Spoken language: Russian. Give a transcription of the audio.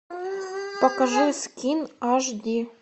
покажи скин аш ди